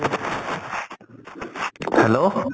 hello